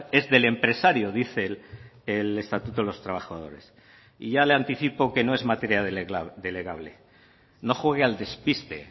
es del empresario dice el estatuto de los trabajadores y ya le anticipo que no es materia delegable no juegue al despiste